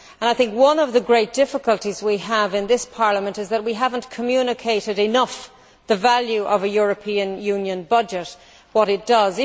I think one of the great difficulties we have in this Parliament is that we have not communicated enough the value of a European Union budget and what it does.